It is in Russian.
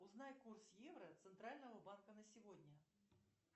узнай курс евро центрального банка на сегодня